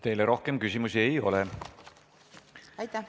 Teile rohkem küsimusi ei ole.